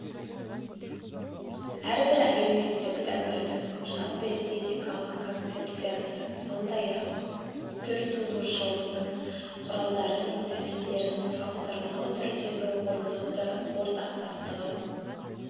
әрбір әлеуметтік дәуірдің жалпы эстетикалық концепциясы сондай-ақ түртудырушылықтың құралдары мен тәсілдерінің салыстырмалы түрдегі орнықты ортақтастығын